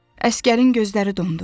Əsgərin gözləri dondu.